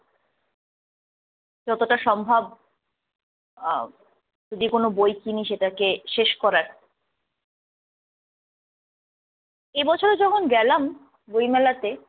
যতটা সম্ভব আহ যেকোন বই ‍কিনে সেটাকে শেষ করার। এই বছর যখন গেলাম বইমেলাতে